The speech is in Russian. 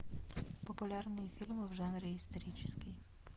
популярные фильмы в жанре исторический